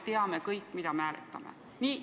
Siis me teame kõik, mida me hääletame.